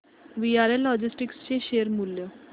VRL logistics चे share मूल्य